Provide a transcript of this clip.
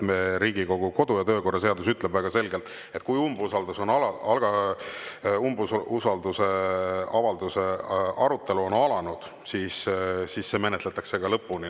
Riigikogu kodu- ja töökorra seadus ütleb väga selgelt, et kui umbusalduse avalduse arutelu on alanud, siis see menetletakse lõpuni.